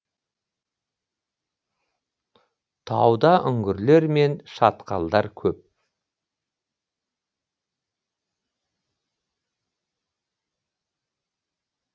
тауда үңгірлер мен шатқалдар көп